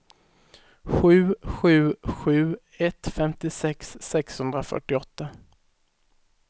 sju sju sju ett femtiosex sexhundrafyrtioåtta